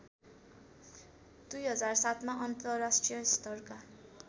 २००७ मा अन्तर्राष्ट्रिय स्तरका